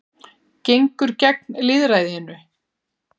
Gengur gegn lýðræðinu